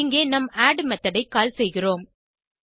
இங்கே நம் add method ஐ கால் செய்கிறோம்